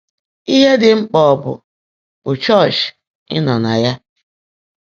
Íhe Ḍị́ Mkpã Ọ̀ Bụ́ Bụ́ Chọ́ọ́chị́ Ị́ Nọ́ nà Yá?